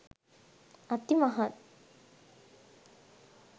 අති මහත්